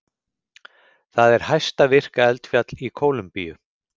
Það er hæsta virka eldfjall í Kólumbíu.